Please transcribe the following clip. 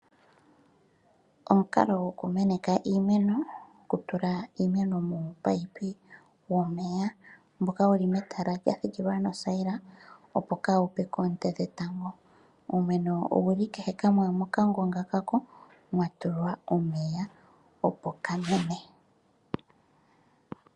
Omukalo gokumeneka iimeno gokutula iimeno muumunino womeya mboka wuli metala lya siikilwa nothayila, opo kawu pye koonte dhetango. Uumeno owuli kehe kamwe mokangonga ka ko, wa tulwa omeya opo ka mene.